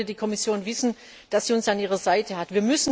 Deswegen sollte die Kommission wissen, dass sie uns an ihrer Seite hat.